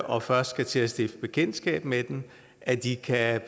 og først skal til at stifte bekendtskab med den at de kan